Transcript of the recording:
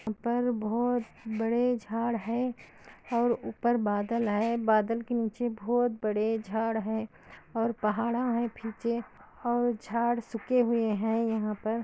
ऊपर बहुत बड़े झाड़ है ओर ऊपर बदल हे बदल के नीचे बहुत बड़े जड़ हे ओर बहडा है पीछे ओर जड सूखे हुए हे यह पर --